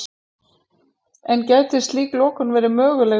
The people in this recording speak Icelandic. En gæti slík lokun verið möguleg nú?